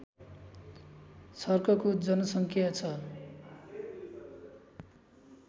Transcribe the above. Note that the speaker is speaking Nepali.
छर्कको जनसङ्ख्या छ